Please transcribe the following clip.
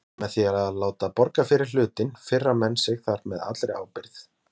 Með því að láta borga fyrir hlutinn firra menn sig þar með allri ábyrgð.